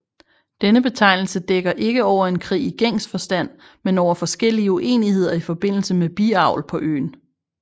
Denne betegnelse dækker ikke over en krig i gængs forstand men over forskellige uenigheder i forbindelse med biavl på øen